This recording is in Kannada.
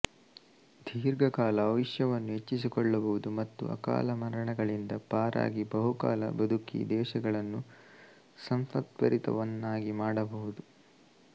ದೀರ್ಘಕಾಲ ಆಯುಷ್ಯವನ್ನು ಹೆಚ್ಚಿಸಿಕೊಳ್ಳಬಹುದು ಮತ್ತು ಅಕಾಲಮರಣಗಳಿಂದ ಪಾರಾಗಿ ಬಹುಕಾಲ ಬದುಕಿ ದೇಶಗಳನ್ನು ಸಂಪದ್ಭರಿತವನ್ನಾಗಿ ಮಾಡಬಹುದು